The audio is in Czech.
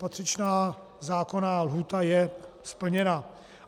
Patřičná zákonná lhůta je splněna.